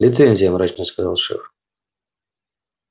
лицензия мрачно сказал шеф